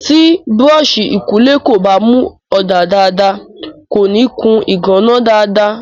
Tí búrọ́ọ̀sì ìkunlé kò bá mu ọ̀dà dáadáa, kòní kun ìgànná dáadáa.